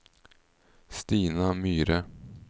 Stina Myhre